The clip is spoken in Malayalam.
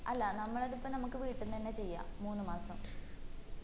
അല്ല നമ്മളത് ഇപ്പൊ നമ്മക്ക് വീട്ടീന്ന് തന്നെ ചെയ്യാ മൂന്ന്‌ മാസം